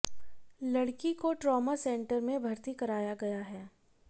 लड़की को trauma centre में भर्ती कराया गया है